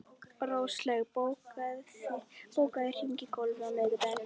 Róslaug, bókaðu hring í golf á miðvikudaginn.